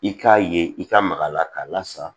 I k'a ye i ka maga a la k'a lasama